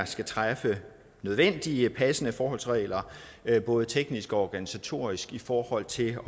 skal træffe nødvendige og passende forholdsregler både teknisk og organisatorisk i forhold til